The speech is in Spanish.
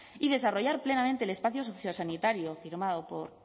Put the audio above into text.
y desarrollar plenamente el espacio sociosanitario firmado por